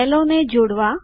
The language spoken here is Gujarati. સેલો ને જોડવા